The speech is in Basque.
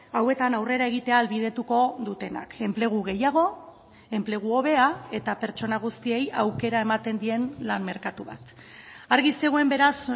hauetan aurrera egitea ahalbidetuko dutenak enplegu gehiago enplegu hobea eta pertsona guztiei aukera ematen dien lan merkatu bat argi zegoen beraz